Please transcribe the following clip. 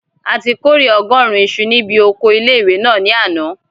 A ti kórè ọgọ́rùn isu ní bi oko ilé-ìwé náà ní àná